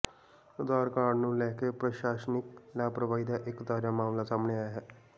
ਆਧਾਰ card ਨੂੰ ਲੈ ਕੇ ਪ੍ਰਸ਼ਾਸਨਿਕ ਲਾਪਰਵਾਹੀ ਦਾ ਇਕ ਤਾਜਾ ਮਾਮਲਾ ਸਾਹਮਣੇ ਆਇਆ ਹੈ